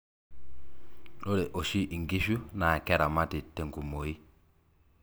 ore oshi inkishu naa keramati te nkumooi.